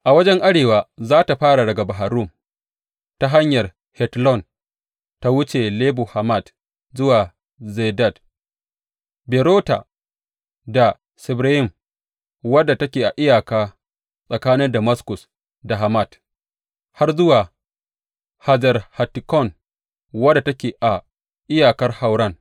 A wajen arewa za tă fara daga Bahar Rum ta hanyar Hetlon ta wuce Lebo Hamat zuwa Zedad, Berota da Sibrayim wadda take a iyaka tsakanin Damaskus da Hamat, har zuwa Hazer Hattikon, wadda take a iyakar Hauran.